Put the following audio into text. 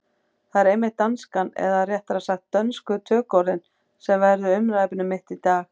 Það er einmitt danskan, eða réttara sagt dönsku tökuorðin, sem verður umræðuefni mitt í dag.